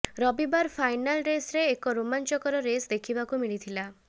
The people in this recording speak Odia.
ରବିବାର ଫାଇନାଲ୍ ରେସରେ ଏକ ରୋମାଞ୍ଚକର ରେସ୍ ଦେଖିବାକୁ ମିଳିଥିଲା